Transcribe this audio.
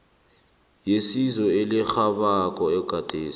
yesizo elirhabako ogade